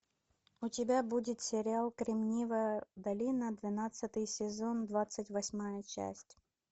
у тебя будет сериал кремниевая долина двенадцатый сезон двадцать восьмая часть